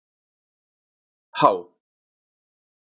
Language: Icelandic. H